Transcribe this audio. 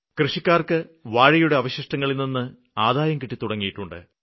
കൃഷിക്കാര്ക്ക് വാഴയുടെ അവശിഷ്ടങ്ങളില്നിന്ന് ആദായം കിട്ടിത്തുടങ്ങിയിട്ടുണ്ട്